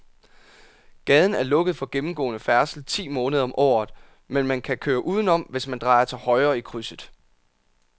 Gaden er lukket for gennemgående færdsel ti måneder om året, men man kan køre udenom, hvis man drejer til højre i krydset.